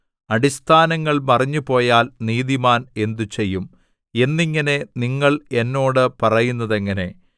അടിസ്ഥാനങ്ങൾ മറിഞ്ഞുപോയാൽ നീതിമാൻ എന്തുചെയ്യും എന്നിങ്ങനെ നിങ്ങൾ എന്നോട് പറയുന്നതെങ്ങനെ